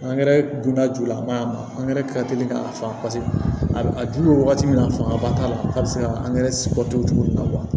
Angɛrɛ donna jula ma a ma angɛrɛ teli k'a faamu a dun bɛ wagati min na a fanga ba t'a la a bɛ se ka angɛrɛ bɔ to cogo min na